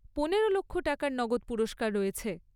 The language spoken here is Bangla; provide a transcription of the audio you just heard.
পনেরো লক্ষ টাকার নগদ পুরস্কার রয়েছে।